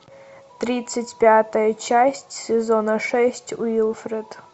тридцать пятая часть сезона шесть уилфред